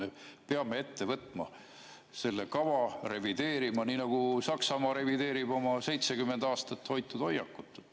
Me peame ette võtma selle kava, revideerima seda, nii nagu Saksamaa revideerib oma 70 aastat hoitud hoiakut.